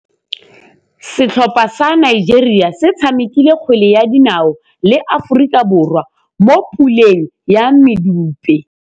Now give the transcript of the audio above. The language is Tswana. Setlhopha sa Nigeria se tshamekile kgwele ya dinaô le Aforika Borwa mo puleng ya medupe.